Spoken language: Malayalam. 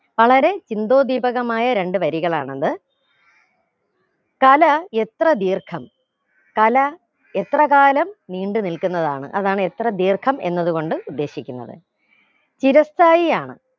വളരെ ചിന്തോതിതകമായ രണ്ട് വരികളാണത് തല എത്ര ദീർഗം തല എത്ര കാലം നീണ്ടു നിൽക്കുന്നതാണ് അതാണ് എത്ര ദീർഗം എന്നത് കൊണ്ട് ഉദ്ദേശിക്കുന്നത് ശിരസ്സായിയാണ്